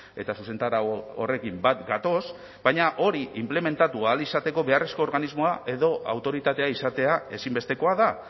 eta zuzentarau horrekin bat gatoz baina hori inplementatu ahal izateko beharrezko organismoa edo autoritatea izatea ezinbestekoa da